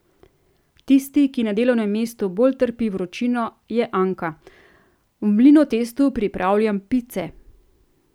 Tisti, ki na delovnem mestu bolj trpi vročino, je Anka: 'V Mlinotestu pripravljam pice.